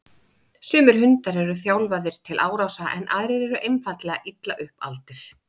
Sumir hundar eru þjálfaðir til árása en aðrir eru einfaldlega illa upp aldir.